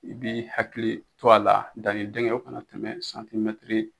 I bɛ hakili to a la danni dingɛ o kana tɛmɛ santimɛtiri